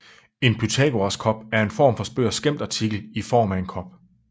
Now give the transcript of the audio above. En Pythagoras kop er en form for spøg og skæmtartikel i form af en kop